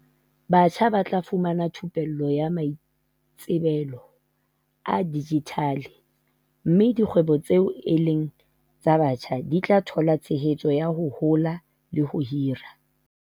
Batjha ba tla fumana thu pello ya maitsebelo a dijithale mme dikgwebo tseo e leng tsa batjha di tla thola tshehetso ya ho hola le ho hira.